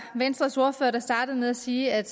venstres ordfører der startede med at sige at